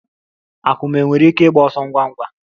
Akum nwere ike ịgba ọsọ ngwa ngwa?